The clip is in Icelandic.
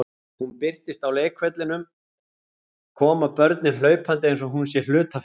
Þegar hún birtist á leikvellinum koma börnin hlaupandi eins og hún sé hlutafélag.